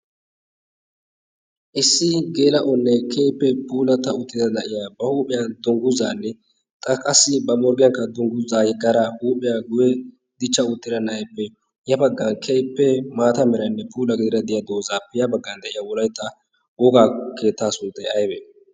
issi geela oonnee keippee puulata uttida da'iya ba huuphiyan dongguzaanne xaqassi ba morggiyankka dongguzaa yaggara huuphiyaa guye dichcha uttira naaippe yafaggan keippee maata merainne puula gidira de'iya doozaappiyaa baggan de'iya woraetta wogaa keettaa sunttae awee